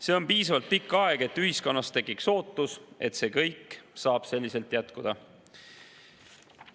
See on piisavalt pikk aeg, et ühiskonnas tekiks ootus, et see kõik saab selliselt jätkuda.